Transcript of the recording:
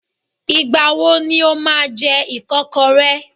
Ìgbà wo ni o máa jẹ ìkọ́kọrẹ́?